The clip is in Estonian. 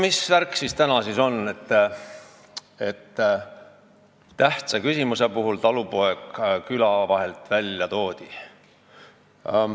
Mis värk siin täna on, et tähtsa küsimuse puhul talupoeg küla vahelt välja toodi?